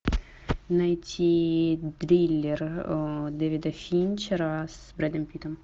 найти триллер дэвида финчера с бредом питом